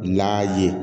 N'a ye